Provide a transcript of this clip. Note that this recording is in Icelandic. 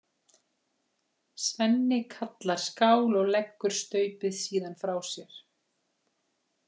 Svenni kallar skál og leggur staupið síðan frá sér.